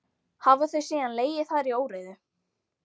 Hafa þau síðan legið þar í óreiðu.